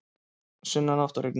Sunnanátt og rigning